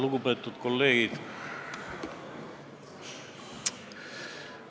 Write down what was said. Lugupeetud kolleegid!